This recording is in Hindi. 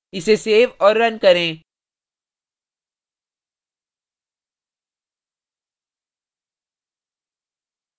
इसे सेव और run करें